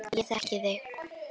Ég þekki þig.